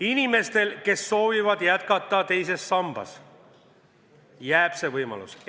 Inimestel, kes soovivad teises sambas jätkata, jääb see võimalus alles.